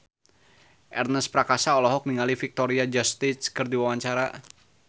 Ernest Prakasa olohok ningali Victoria Justice keur diwawancara